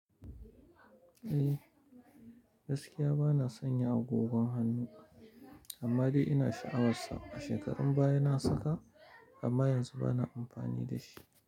Eh, gaskiya bana sonya agogon hannu amma dai ina sha'awarsa. A shekarun baya na saka amma yanzu bana amfani da shi.